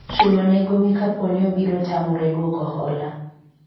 chulo ne gowi kaponi obiro tamore dwoko hola